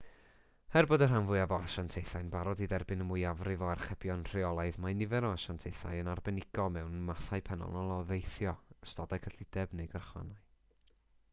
er bod y rhan fwyaf o asiantaethau'n barod i dderbyn y mwyafrif o archebion rheolaidd mae nifer o asiantaethau yn arbenigo mewn mathau penodol o deithio ystodau cyllideb neu gyrchfannau